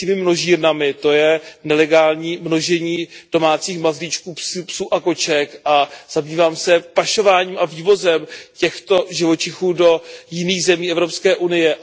psími množírnami, to je nelegální množení domácích mazlíčků, psů a koček, a zabývám se pašováním a vývozem těchto živočichů do jiných zemí Evropské unie.